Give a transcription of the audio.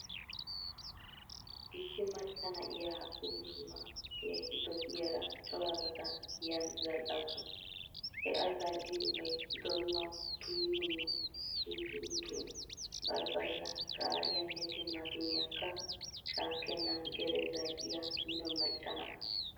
Issi macca na'iya oosuwa keehi dosiyaara corabata giyaani zal"awusu. He A zal'iyoobay, donuwa, tuummuwa, sunkkuruutuwa, barbbariya qaariyanne timaatimiyaakka shaakkennan gede zal"iya mino macca na'a.